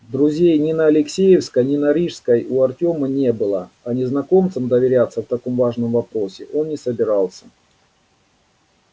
друзей ни на алексеевской ни на рижской у артёма не было а незнакомцам доверяться в таком важном вопросе он не собирался